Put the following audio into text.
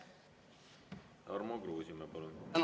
Tarmo Kruusimäe, palun!